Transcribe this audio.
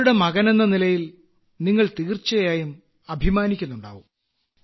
അവരുടെ മകനെന്ന നിലയിൽ നിങ്ങൾ തീർച്ചയായും അഭിമാനിക്കുന്നുണ്ടാകും